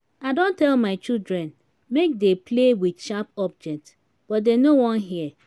i don tell my children make dey play with sharp object but dey no wan hear